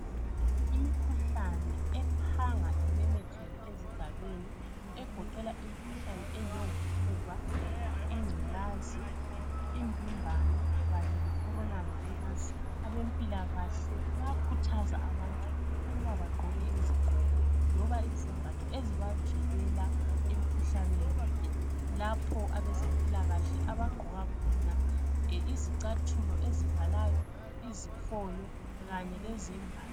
Imikhuhlane ephanga imemetheke esigabeni egoqela imikhuhlane enjongo fuba ingcolazi imvimbano Kanye le corona virus abempilakahle bayakhuthaza abantu ukubabaqgoke izigqoko loba izembatho ezibavikela emkhuhlaneni le lapho abazempilakahle abagqoka khonaizicathulo ezivalayo izifonyo Kanye le zembatho